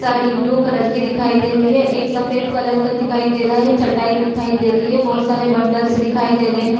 Sari blue colour का दिखाई दे रहा हे एक सफेद रंग का दिखाई दे रहा हे चटाई दे रही हे बहुत सारे बंडल्स दिखाई दे रहे हे।